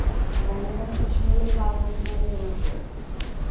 ഭയങ്കര വിഷമമുള്ള ഒരു കാലഘട്ടം തന്നെയായിരുന്നു അപ്പോൾ